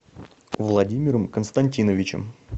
владимиром константиновичем